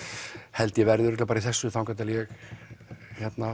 held ég verði bara í þessu þangað til ég